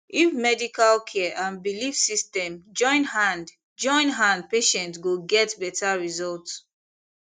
if medical care and belief system join hand join hand patient go get better result